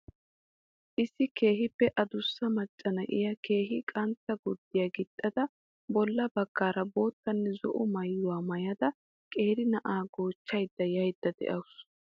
Issi keehippe adussa macca na'iya keehin qantta gurdiiya gixxada bolla baggaara boottanne zo'o maayuwa maayada qeeri na'aa goochchada yaydda de'awusu.